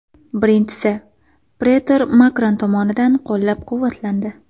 Birinchisi, pretor Makron tomonidan qo‘llab-quvvatlandi.